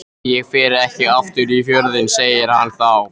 Ég fer ekki aftur í Fjörðinn, segir hann þá.